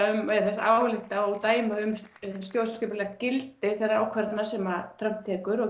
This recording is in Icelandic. þess að álykta og dæma um stjórnskipulegt gildi þeirra ákvarðana sem Trump tekur og